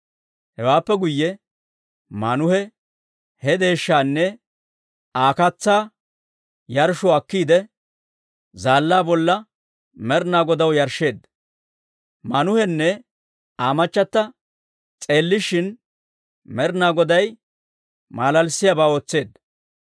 Hewaappe guyye Maanuhe he deeshshaanne Aa katsaa yarshshuwaa akkiide, zaallaa bolla Med'inaa Godaw yarshsheedda. Maanuhenne Aa machata s'eellishin, Med'inaa Goday maalaalissiyaabaa ootseedda.